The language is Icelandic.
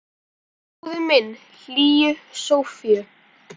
Og bróðir minn hlýju Sofíu.